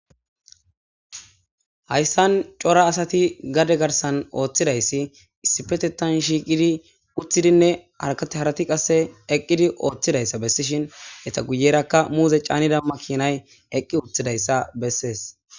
hayssan cora asati gade garsan ooththidayssi issipetetan shiiqidi uththidinne arkatiharati qasse eqqidi ooththidayssa bessishin eta guyerakka muuze caanidamma kinay eqqi uththidayssa bessees